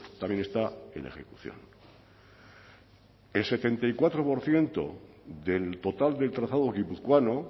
también está en ejecución el setenta y cuatro por ciento del total del trazado guipuzcoano